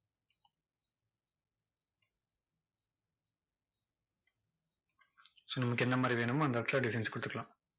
so நமக்கு என்ன மாதிரி வேணுமோ அந்த இடத்துல designs கொடுத்துக்கலாம்.